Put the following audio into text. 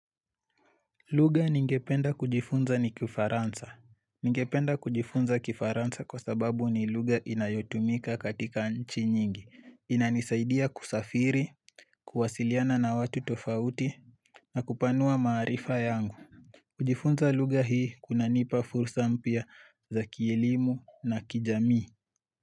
Lugha ningependa kujifunza ni kifaransa Ningependa kujifunza kifaransa kwa sababu ni lugha inayotumika katika nchi nyingi inanisaidia kusafiri, kuwasiliana na watu tofauti na kupanua maarifa yangu kujifunza lugha hii kuna nipa fursa mpya za kiilimu na kijamii.